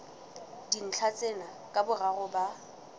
dintlha tsena ka boraro ba